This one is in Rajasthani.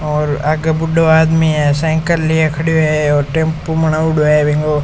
और आगे बूढ़ों आदमी है साइकिल लेर खड़ो है और टेम्पो बनाउडो है बिको।